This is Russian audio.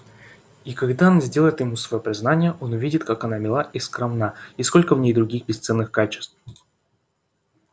и когда она сделает ему своё признание он увидит как она мила и скромна и сколько в ней других бесценных качеств